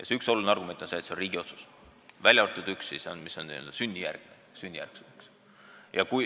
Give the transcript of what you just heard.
See üks oluline argument on see, et kodakondsuse andmine on riigi otsus, välja arvatud juhul, kui tegu on sünnijärgse kodakondsusega.